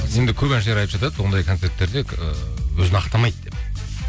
енді көп әншілер айтып жатады ондай концерттерде ыыы өзін ақтамайды деп